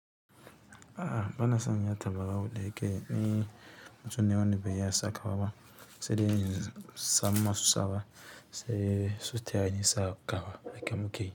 A'a bana sanya tabarau da yake ni mutum ne wanda ban iya sakawa ba sai dai in samu masu sawa sai su tayani sakawa haka muke yi.